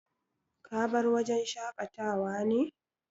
Ka bar wajen shakata wa ne?